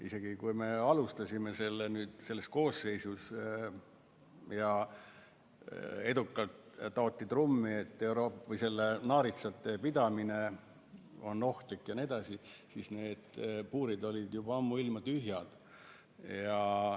Juba siis, kui me alustasime selle koosseisuga ja edukalt taoti trummi, et naaritsate pidamine on ohtlik jne, need puurid olid ammuilma tühjad.